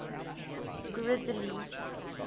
grizzly